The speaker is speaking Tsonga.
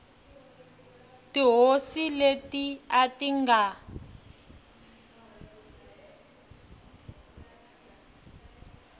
tihosi leti a ti nga